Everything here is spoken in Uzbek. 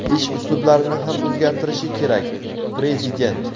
ish uslublarini ham o‘zgartirishi kerak – Prezident.